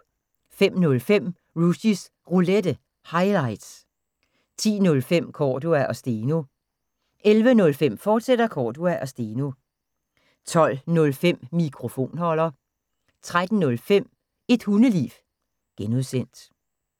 05:05: Rushys Roulette – highlights 10:05: Cordua & Steno 11:05: Cordua & Steno, fortsat 12:05: Mikrofonholder 13:05: Et Hundeliv (G)